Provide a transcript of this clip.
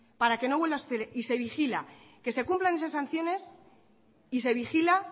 para que no vuelvan a suceder y se vigila que se cumplan esas sanciones y se vigila